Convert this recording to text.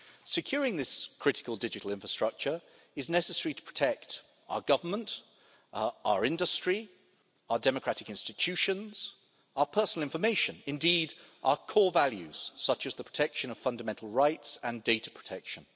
Securing this critical digital infrastructure is necessary to protect our government, our industry, our democratic institutions, our personal information, and indeed, our core values, such as the protection of fundamental rights and data protection.